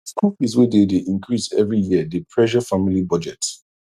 school fees wey dey dey increase every year dey pressure family budget